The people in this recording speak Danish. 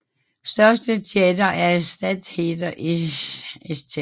Største teatre er Stadttheater i St